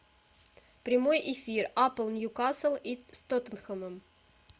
прямой эфир апл ньюкасл и с тоттенхэмом